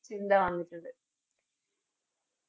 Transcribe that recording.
ചിന്ത ആരംഭിച്ചത്